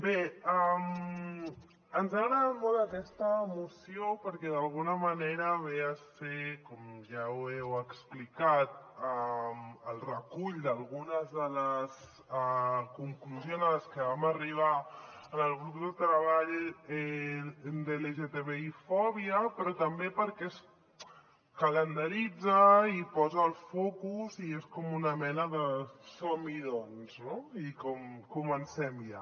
bé ens ha agradat molt aquesta moció perquè d’alguna manera ve a ser com ja s’ha explicat el recull d’algunes de les conclusions a les que vam arribar en el grup de treball sobre l’lgtbi fòbia però també perquè calendaritza i posa el focus i és com una mena de som hi doncs no i comencem ja